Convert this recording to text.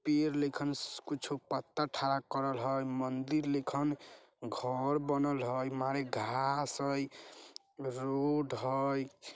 पियर लिखन कुछ पत्थर खड़ा करल हई मन्दिर लिखन घर बनल हई मरी घास हई रोड हई।